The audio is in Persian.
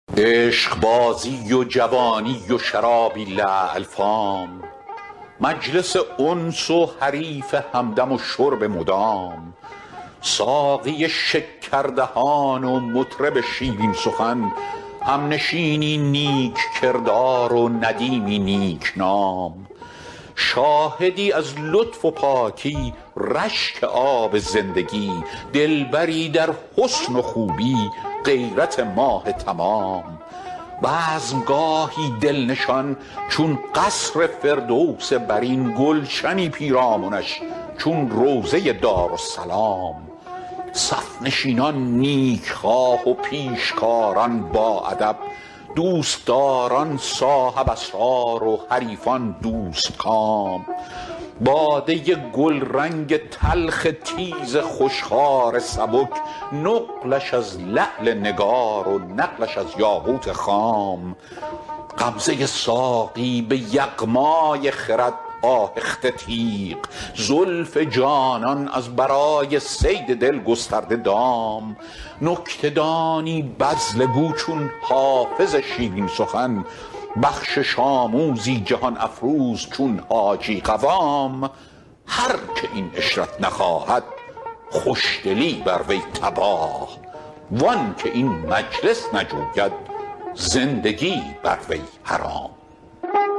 عشقبازی و جوانی و شراب لعل فام مجلس انس و حریف همدم و شرب مدام ساقی شکردهان و مطرب شیرین سخن همنشینی نیک کردار و ندیمی نیک نام شاهدی از لطف و پاکی رشک آب زندگی دلبری در حسن و خوبی غیرت ماه تمام بزم گاهی دل نشان چون قصر فردوس برین گلشنی پیرامنش چون روضه دارالسلام صف نشینان نیک خواه و پیشکاران باادب دوست داران صاحب اسرار و حریفان دوست کام باده گلرنگ تلخ تیز خوش خوار سبک نقلش از لعل نگار و نقلش از یاقوت خام غمزه ساقی به یغمای خرد آهخته تیغ زلف جانان از برای صید دل گسترده دام نکته دانی بذله گو چون حافظ شیرین سخن بخشش آموزی جهان افروز چون حاجی قوام هر که این عشرت نخواهد خوش دلی بر وی تباه وان که این مجلس نجوید زندگی بر وی حرام